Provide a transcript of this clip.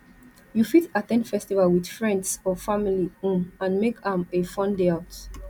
you fit at ten d festival with friends or family um and make am a fun day out